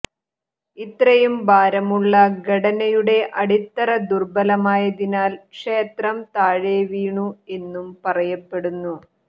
ഇത്രയും ഭാരമുള്ള ഘടനയുടെ അടിത്തറ ദുർബലമായതിനാൽ ക്ഷേത്രം താഴെ വീണു എന്നും പറയപ്പെടുന്നു